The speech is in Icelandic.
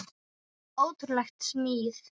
Ótrúleg smíð.